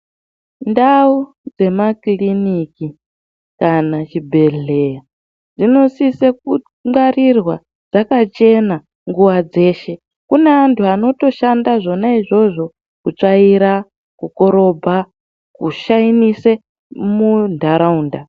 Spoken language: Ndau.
Ndawu dzenakiriniki kana chibhehlera dzinosise kungwarirwa dzakachena nguwa dzeshe, kune anthu anotoshanda zvona izvozvo kutsvaira, kukorobha ,kushainisa munharaunda.